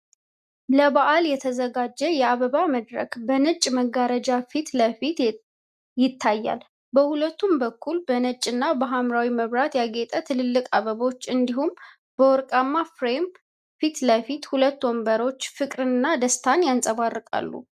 ለበዓል የተዘጋጀ የአበባ መድረክ በነጭ መጋረጃ ፊት ለፊት ይታያል። በሁለቱም በኩል በነጭ እና በሐምራዊ መብራት ያጌጡ ትልልቅ አበቦች፣ እንዲሁም በወርቃማ ፍሬም ፊት ለፊት ሁለት ወንበሮች ፍቅርን እና ደስታን ያንጸባርቃሉ።